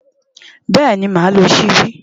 Bẹ́ẹ̀ni, màá lo ṣíbí.